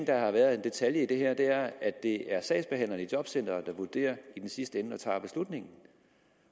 er en detalje i det her og det er at det er sagsbehandlerne i jobcenteret der i sidste ende og tager beslutningen